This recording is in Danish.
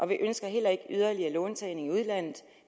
vi ønsker heller ikke yderligere låntagning i udlandet